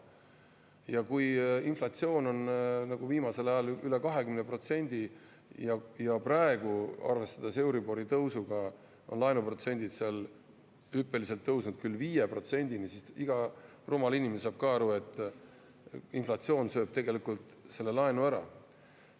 Ja kui inflatsioon on nagu viimasel ajal üle 20% ja praegu, arvestades euribori tõusuga, on laenuprotsendid seal hüppeliselt tõusnud 5%‑ni, siis iga rumal inimene saab ka aru, et inflatsioon sööb tegelikult selle laenu ära.